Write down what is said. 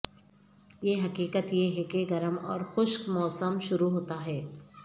یہ حقیقت یہ ہے کہ گرم اور خشک موسم شروع ہوتا ہے